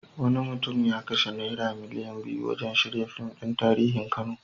Wani mutum ya kashe naira miliyan biyu wurin shirya fim ɗin tarihin Kano.